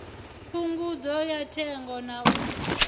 phungudzo ya thengo na u